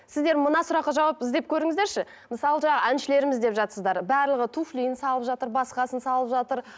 сіздер мына сұраққа жауап іздеп көріңіздерші мысалы жаңа әншілеріміз деп жатсыздар барлығы туфлиін салып жатыр басқасын салып жатыр